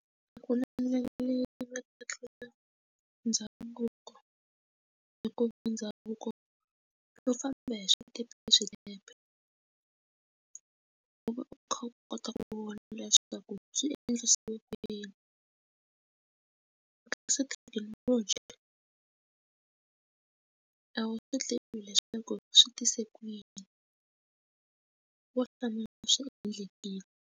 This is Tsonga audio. A ku na ndlela leyi nga tlula ndhavuko hikuva ndhavuko xo famba hi swikepe swinepe u va u kha u kota ku vona leswaku swi endlisiwa ku yini kasi thekinoloji a wu swi tivi leswaku swi tise ku yini wo hlamula swi endlekile.